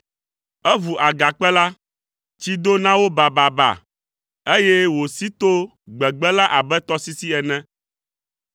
Eʋu agakpe la, tsi do na wo bababa, eye wòsi to gbegbe la abe tɔsisi ene.